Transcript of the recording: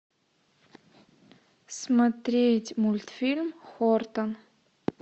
смотреть мультфильм хортон